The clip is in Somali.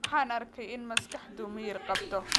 Waxaan arkay in maskaxdu miyir qabto